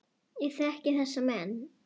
Ég þekki þessa menn.